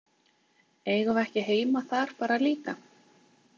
Eigum við ekki heima þar bara líka?